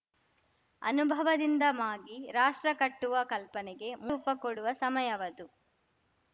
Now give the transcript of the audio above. ಅನುಭವದಿಂದ ಮಾಗಿ ರಾಷ್ಟ್ರ ಕಟ್ಟುವ ಕಲ್ಪನೆಗೆ ಪ ಕೊಡುವ ಸಮಯವದು